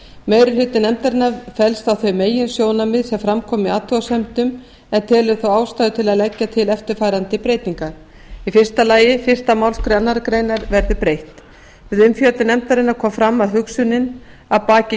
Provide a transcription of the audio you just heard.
meiri hluti nefndarinnar fellst á þau meginsjónarmið sem fram koma í athugasemdum en telur þó ástæðu til að leggja til eftirfarandi breytingar í fyrsta lagi fyrstu málsgrein annarrar greinar verði breytt við umfjöllun nefndarinnar kom fram að hugsunin að baki